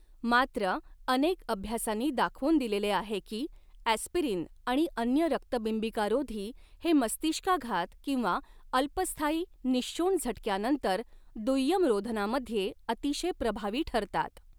मात्र, अनेक अभ्यासांनी दाखवून दिलेले आहे की, अॅस्पिरिन आणि अन्य रक्तबिंबिकारोधी हे मस्तिष्काघात किंवा अल्पस्थायी निःशोण झटक्यानंतर दुय्यम रोधनामध्ये अतिशय प्रभावी ठरतात.